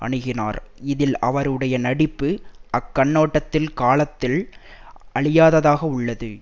அணுகினார் இதில் அவருடைய நடிப்பு அக்கண்ணோட்டத்தில் காலத்தில் அழியாததாக உள்ளது